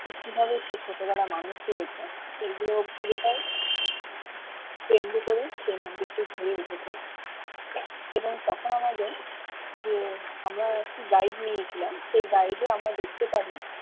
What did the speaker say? সে কি ভেবে সেই ছোট বেলায় মানুষ হয়েছে সেগুলো পুরো টাই কেন্দ্র করে সেই মন্দির টি হয়ে উঠেছে এবং তখন আমাদের যে আমরা একটি guide নিয়েছিলাম সেই guide এ আমরা দেখতে পারি